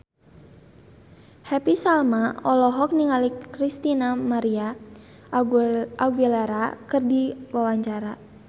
Happy Salma olohok ningali Christina María Aguilera keur diwawancara